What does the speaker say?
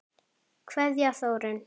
Kveðja, Þórunn.